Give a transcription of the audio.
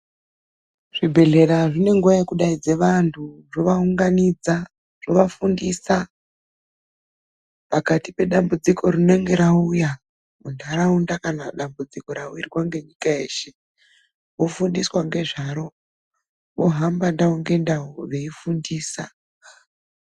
Zvibhedhlera zvine nguwa yekudaidze vantu, zvovaunganidza ,zvovafundisa pakati pedambudziko rinenge rauya munharaunda, kana dambudziko rawirwa ngenyika yeshe vofundiswa ngezvaro. Vohamba ndau ngendau veyifundisa.